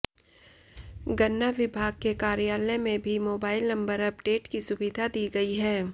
गन्ना विभाग के कार्यालय में भी मोबाइल नंबर अपडेट की सुविधा दी गई है